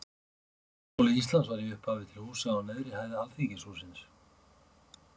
háskóli íslands var í upphafi til húsa á neðri hæð alþingishússins